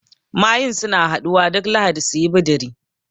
Mayun suna haɗuwa duk lahadi suyi bidiri